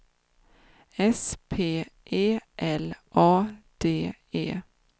S P E L A D E